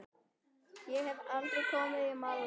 Ég hef aldrei komið til Malmö.